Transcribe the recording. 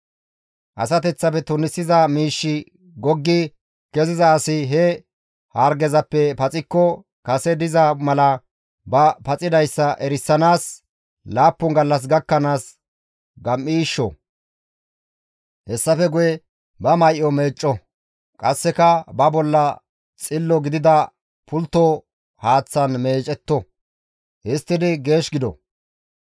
«Asateththafe tunisiza miishshi goggi keziza asi he hargezappe paxikko kase diza mala ba paxidayssa erisanaas laappun gallas gakkanaas gam7iishsho; hessafe guye ba may7o meecco; qasseka ba bolla xillo gidida pultto haaththan meecetto; histtidi geesh gido.